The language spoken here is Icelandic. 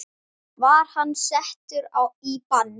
Var hann settur í bann?